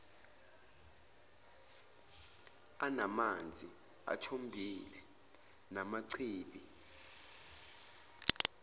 anamanzi athombile namachibi